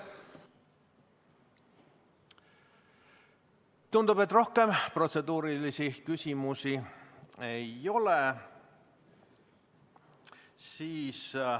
Tundub, et rohkem protseduurilisi küsimusi ei ole.